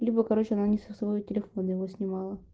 либо короче она не со своего телефона его снимала